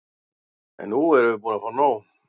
En nú erum við búin að nóg!